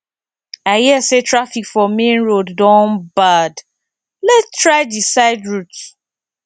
i hear say traffic for main road don bad lets try di side route